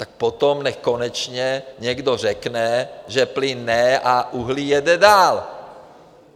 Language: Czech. Tak potom nechť konečně někdo řekne, že plyn ne a uhlí jede dál.